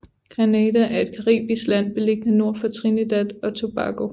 Grenada er et caribisk land beliggende nord for Trinidad og Tobago